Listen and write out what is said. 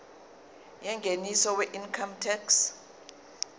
yengeniso weincome tax